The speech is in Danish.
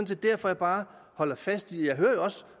set derfor jeg bare holder fast jeg hører jo også